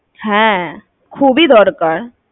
হ্যাঁ, খুবই দরকার